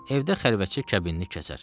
Evdə xəlvətcə kəbinini kəsər.